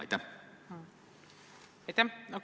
Aitäh!